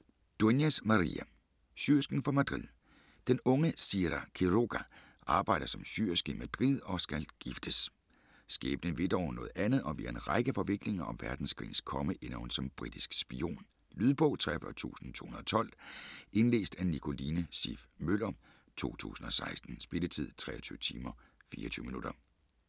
Dueñas, María: Syersken fra Madrid Den unge Sira Quiroga arbejder som syerske i Madrid og skal giftes. Skæbnen vil dog noget andet, og via en række forviklinger og verdenskrigens komme ender hun som britisk spion. Lydbog 43212 Indlæst af Nicoline Siff Møller, 2016. Spilletid: 23 timer, 24 minutter.